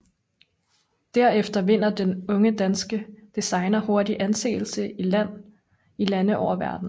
Derefter vinder den unge danske designer hurtigt anseelse i lande verden over